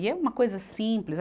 E é uma coisa simples.